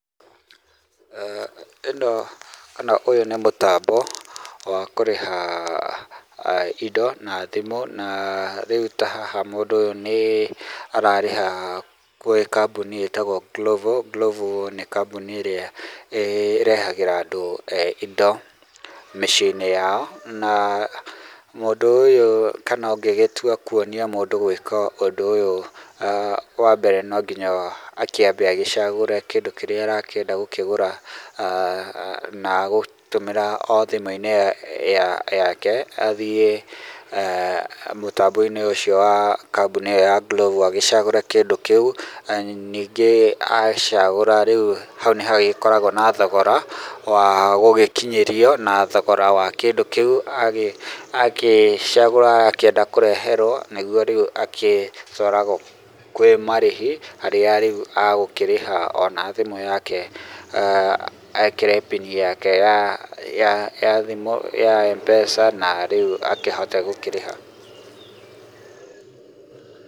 ĩno kana ũyũ nĩ mũtambo wa kũrĩha indo na thimũ. Na rĩu ta haha mũndũ ũyũ nĩ ararĩha gwĩ kambuni ĩtagwo Glovo. Glovo nĩ kambuni ĩrĩa ĩrehagĩra andũ indo mĩciĩ-inĩ yao. Na mũndũ ũyũ kana ũngĩgĩtua kuonia mũndũ gũĩka ũndũ ũyũ, wambere no nginya akĩambe agĩcagũre kĩndu kĩrĩa arakĩenda gũkĩgũra na egũtũmĩra o thimũ-inĩ yake athiĩ mũtambo-inĩ ũcio wa kambuni ĩyo ya Glovo agĩcagũre kĩndũ kĩu, ningĩ acagũra, hau nĩhagĩkoragwo na thogora wa gũgĩkinyĩrio, na thogora wa kĩndũ kĩu agĩcagũra akĩenda kũreherwo nĩguo rĩu agĩcoka kwĩmarĩhi harĩa rĩu egũkĩrĩha ona thimũ yake ekĩre pini yake ya thimũ ya M-Pesa na rĩu akĩhote gũkĩrĩha.